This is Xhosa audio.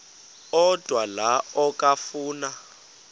odwa la okafuna